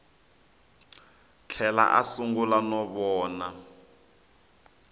tlhela a sungula no vona